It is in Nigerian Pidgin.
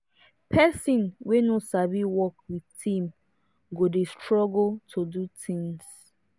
person wey no sabi work with team go dey struggle to do things